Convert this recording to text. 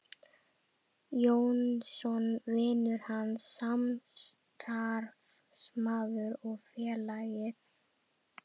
Jónsson: vinur hans, samstarfsmaður og félagi.